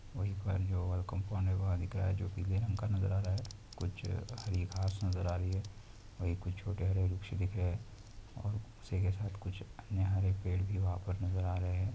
वहीं पर जो वो कंपाउंड में बाहर दिख रहा है जो की पीले रंग का नज़र आ रहा है कुछ हरी घास नज़र आ रही है वहीं कुछ छोटे हरे वृक्ष दिख रहे है और उसी के साथ कुछ अन्य हरे पेड़ भी वहाँ पर नज़र आ रहे है ।